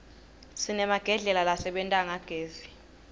sinemagedlela lasebenta ngagezi